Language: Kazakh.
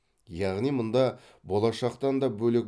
яғни мұнда болашақтан да бөлек